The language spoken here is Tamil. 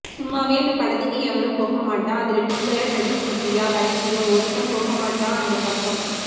சும்மாவே அந்தப்படத்துக்கு எவனும் போகமாட்டான் இதுல நீ வேற நடிச்சிருக்கியா வெளங்கிடும் ஒருத்தன் போகமாட்டான் அந்தப்பக்கம்